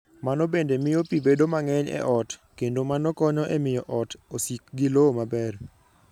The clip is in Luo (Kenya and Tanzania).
Mano bende miyo pi bedo mang'eny e ot, kendo mano konyo e miyo ot osik gi lowo maber.